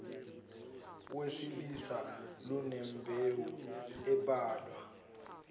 wesilisa lunembewu ebalwa